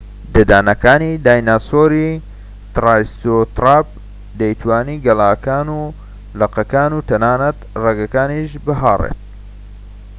ددانەکانی دایناسۆری ترایسێراتۆپ دەیتوانی گەلاکان و لقەکان و تەنانەت ڕەگەکانیش بهاڕێت